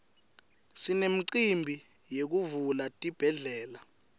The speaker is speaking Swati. sinemicimbi yekuvula tibhedlela